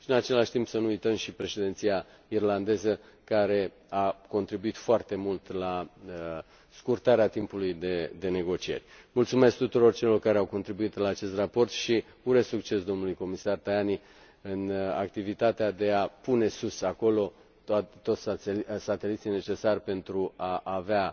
În același timp, să nu uităm președinția irlandeză, care a contribuit foarte mult la scurtarea timpului de negocieri Mulțumesc tuturor celor care au contribuit la acest raport și îi urez succes domnului comisar Tajani în activitatea de a pune sus, acolo, toți sateliții necesari pentru a avea